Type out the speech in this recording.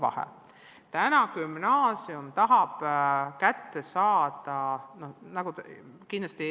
Aga see on väga suur erinevus.